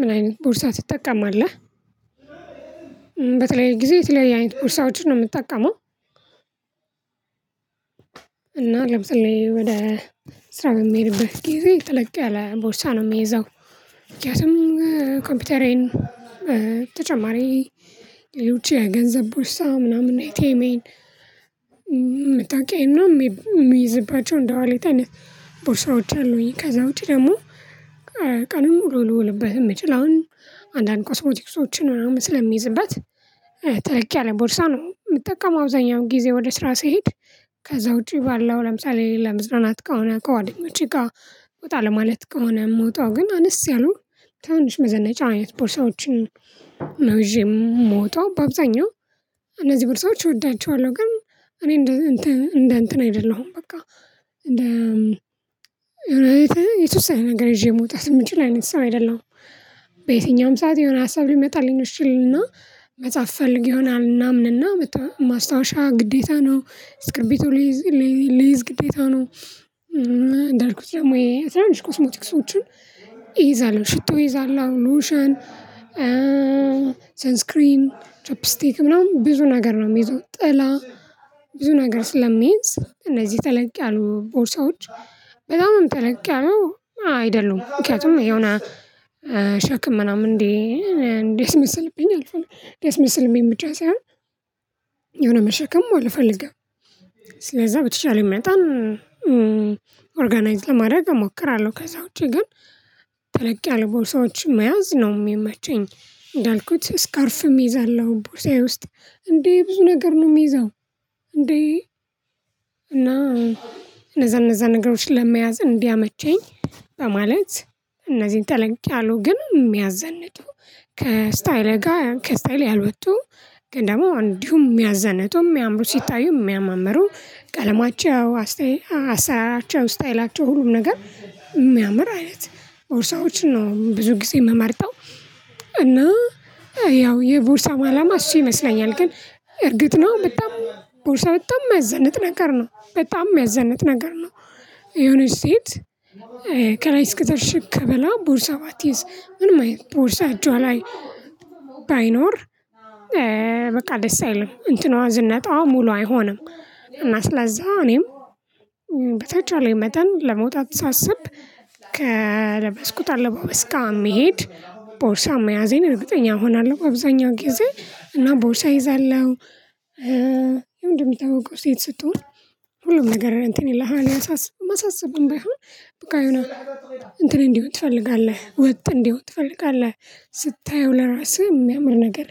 ምን አይነት ቦርሳ ትጠቀማለህ? በተለይ ጊዜ የተለያየ አይነት ቦርሳ ውጪ ነው የምትጠቀመው እና ለምሳሌ ወደ ስራ የምሄድብህ ጊዜ ጥልቅ ያለ ቦርሳ ነው የሚያዘው ምክንያቱም ኮምፒውተሬን ተጨማሪ የውጪ የገንዘብ ቦርሳ ምናምን ኤቲኤሜን መታወቂያዬን ምናምን የሚይዝባቸው እንደዋሌት አይነት ቦርሳዎች አሉኝ ከዛ ውጪ ደግሞ ቀን ሙሉ ልውልብህ የምችል አሁን አንዳንድ ኮስሞቲክሶችን ምናምን ስለሚይዝበት ተለቅ ያለ ቦርሳ ነው የምጠቀመው አብዛኛው ጊዜ ወደ ስራ ስሄድ ከዛ ውጪ ባለው ለምሳሌ ለመዝናናት ከሆነ ከጓደኞቼ ጋር ወጣ ለማለት ከሆነ የምወጣው ግን አነስ ያለው ትናንሽ መዘናጫ አይነት ቦርሳዎችን ነው ይዤ የምወጣው በአብዛኛው እነዚህ ቦርሳዎች እወዳቸዋለሁ ግን እኔ እንደ እንትን እንደ እንትን አይደለሁም በቃ እንደ የተወሰነ ነገር ይዤ መውጣት የምንችለው አይነት ሰው አይደለሁም በየትኛውም ሰዓት የሆነ ሀሳብ ሊመጣልኝ እሺ እልና መጽሐፍ ፈልግ ይሆናል እና ምናምንና ማስታወሻ ግዴታ ነው እስክርቢቶ ልይዝ ግዴታ ነው እንዳልኩት ደግሞ የትንንሽ ኮስሞቲክሶችን ይይዛል ሽቶ ይይዛል ሎሽን ሰንስክሪን ትራፕ ስቴት ምናምን ብዙ ነገር ነው የሚይዘው ጥላ ብዙ ነገር ስለሚይዝ እነዚህ ተለቅ ያሉ ቦርሳዎች በጣምም ተለቅ ያሉ አይደሉም ምክንያቱም የሆነ ሸክም ምናምን እንዴ እንዴት መሰልብኝ አልፏል እንዴት መሰልብኝ የምጫ ሳይሆን የሆነ መሸከም አልፈልግም ስለዛ በተቻለ መጠን ኦርጋናይዝድ ለማድረግ እሞክራለሁ ከዛ ውጪ ግን ተለቅ ያለ ቦርሳዎች መያዝ ነው የሚመቸኝ እንዳልኩት እስካርፍም እይዛለሁ ቦርሳዬ ውስጥ እንዴ ብዙ ነገር ነው የምይዘው እንዴ እና እነዛ እነዛ ነገሮችን ለመያዝ እንዲያመቸኝ በማለት እነዚህን ተለንቼ አሉ ግን የሚያዘንቱ የሚያዘንተው ከስታይል ጋር ከስታይል ያልወጡ ግን ደግሞ እንዲሁ የሚያዘንጡ የሚያምሩ ሲታዩ የሚያመሩ ቀለማቸው ስታይላቸው ስታይላቸው ሁሉም ነገር የሚያምር አይነት ቦርሳዎችን ነው ብዙ ጊዜ የምመርጠው እና ያው የቦርሳ ማላማ እሺ ይመስለኛል ግን እርግጥ ነው በጣም ቦርሳ በጣም የሚያዘንጥ ነገር ነው በጣም የሚያዘንጥ ነገር ነው የሆነች ሴት ከላይ እስከታች ሽክ ብላ ቦርሳ ባትይዝ ምንም አይነት ቦርሳ እጇ ላይ ባይኖር በቃ ደስ አይልም እንትኗ ዝነጣዋ ሙሉ አይሆንም እና ስለዛ እኔም በተቻለኝ መጠን ለመውጣት ሳስብ ከለበስኩት አለባበስ ጋር እሚሄሄድ ቦርሳ መያዜን እርግጠኛ እሆናለሁ በአብዛኛው ጊዜ እና ቦርሳ ይዛለሁ የምታውቀው ሴት ስትሆን ሁሉም ነገር እንትን ይላል ያሳስብህ ማሳሰብህም በቃ ይሁን እንትን እንዲህ ትፈልጋለህ ወጥ እንዲህ ትፈልጋለህ ስታየው ለራስህ የሚያምር ነገር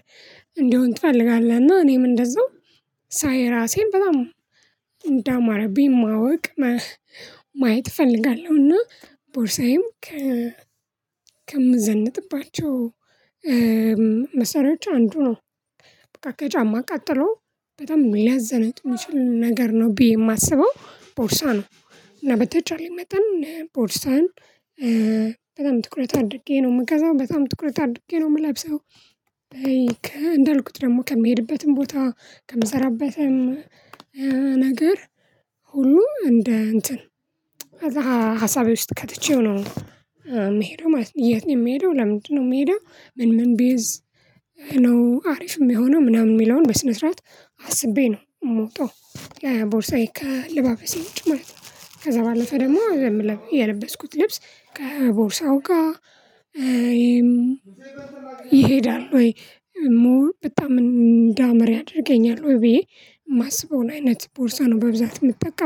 እንዲሆን ትፈልጋለህ እና እኔም እንደዛው ሳይ ራሴን በጣም እንዳማረብኝ ማወቅ ማየት እፈልጋለሁና ቦርሳዬም ከምዘንጥባቸው መሳሪያዎች አንዱ ነው በቃ ከጫማ ቀጥሎ በጣም የሚያዘነጥ የሚችል ነገር ነው ብዬ የማስበው ቦርሳ ነው እና በተቻለኝ መጠን ቦርሳን በጣም ትኩረት አድርጌ ነው የምገዛው በጣም ትኩረት አድርጌ ነው የምለብሰው እንዳልኩት ደግሞ ከሚሄድበትም ቦታ ከምሰራበትም ነገር ሁሉ እንደ እንትን ከዛ ሀሳቤ ውስጥ ከትቼው ነው የምሄደው ማለት ነው የምሄደው ለምንድነው የምሄደው ምን ምን ቢይዝ ነው አሪፍ የሚሆነው ምናምን የሚለውን በስነ ስርዓት አስቤ ነው የምወጣው ቦርሳዬ ከአለበሴ ውጭ ማለት ነው ከዛ ባለፈ ደግሞ የለበስኩት ልብስ ከቦርሳው ጋር ይሄዳል ወይ በጣም እንዳመረ ያደርገኛል ወይ ብዬ የማስበውን አይነት ቦርሳ ነው በብዛት የምትጠቀም